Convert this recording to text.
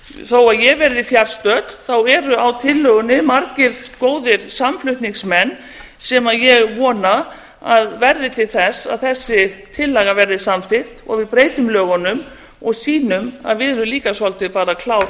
þó að ég verði fjarstödd eru á tillögunni margir góðir samflutningsmenn sem ég vona að verði til þess að þessi tillaga verði samþykkt og við breytum lögunum og sýnum að við erum líka svolítið bara klár